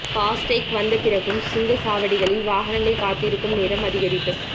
fast take வந்த பிறகும் சுங்கச் சாவடிகளில் வாகனங்கள் காத்திருக்கும் நேரம் அதிகரிப்பு